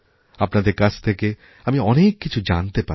আপনাদের কাছ থেকে আমিঅনেক কিছু জানতে পারি